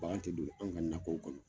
Bankan te don anw ka nakɔw kɔnɔ.